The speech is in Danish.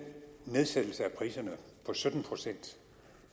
nedsættelse af priserne på sytten procent